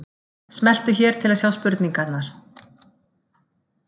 Smelltu hér til að sjá spurningarnar